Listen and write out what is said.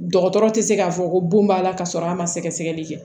Dɔgɔtɔrɔ tɛ se k'a fɔ ko bon b'a la ka sɔrɔ a ma sɛgɛsɛgɛli kɛ